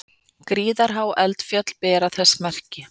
Gríðarhá eldfjöll bera þess merki.